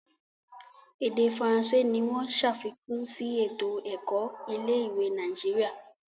Ede faransé ní wón ṣàfikún sí eto-ẹkọ ilé-ìwé Nàìjíríà.